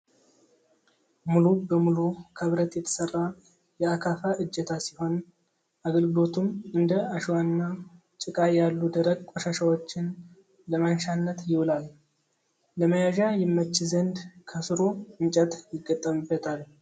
ሙሉ በሙሉ ከብረት የተሰራ የ አካፋ እጀታ ሲሆን አገልግሎቱም እንደ አሸዋና ጭቃ ያሉ ደረቅ ቆሻሻወችን ለማንሻነት ይውላል። ለመያዣ ይመች ዘንድ ከስሩ እንጨት ይገጠምበታል።